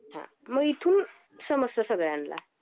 हां मग इथून समजत सगळ्यांना.